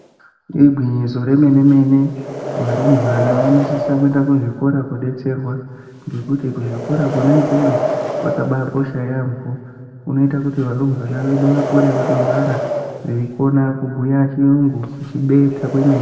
Igwinyiso re mene mene varumbwana vano sisa kuenda ku zvikora ko detserwa ngekuti ku zvikora kona ikweyo kwaka bai kosha yambo kunoita kuti varumbwana vedu vakure vaka ngwara vei kona kubhuya chiyungu kuchi beta kwemene.